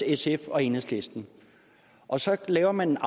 sf og enhedslisten og så laver man